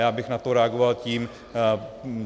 Já bych na to reagoval takto.